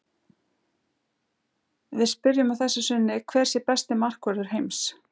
Við spyrjum að þessu sinni hver sé besti markvörður heims?